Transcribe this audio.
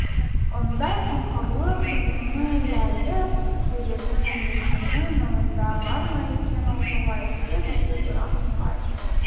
ондай қамқорлық үнемі ләйліп жүретін иесінің ойында бар ма екен ол солай істеді де бірақ нұрай